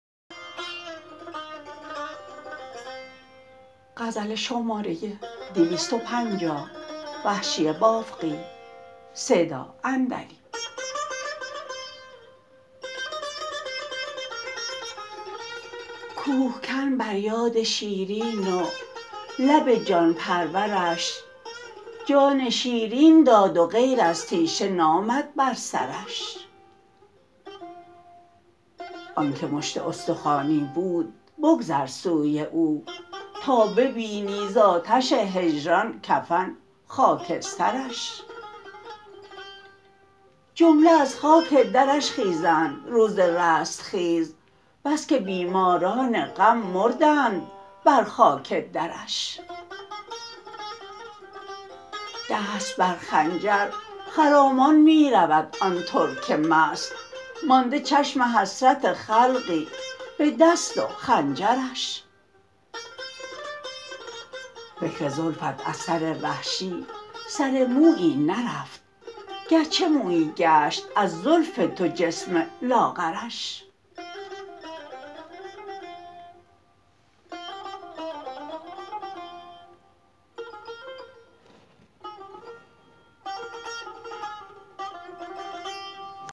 کوهکن بر یاد شیرین و لب جان پرورش جان شیرین داد و غیر از تیشه نامد بر سرش آنکه مشت استخوانی بود بگذر سوی او تا ببینی ز آتش هجران کفن خاکسترش جمله از خاک درش خیزند روز رستخیز بسکه بیماران غم مردند بر خاک درش دست برخنجر خرامان می رود آن ترک مست مانده چشم حسرت خلقی به دست و خنجرش فکر زلفت از سر وحشی سر مویی نرفت گرچه مویی گشت از زلف تو جسم لاغرش